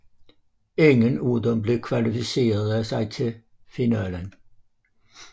Ingen af dem kvalificerede sig dog til finalen